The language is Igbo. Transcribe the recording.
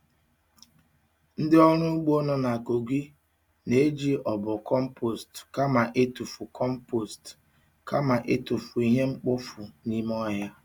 Ndị ọrụ ugbo nọ na Kogi na-eji obo compost kama ịtụfu compost kama ịtụfu ihe mkpofu n'ime ọhịa.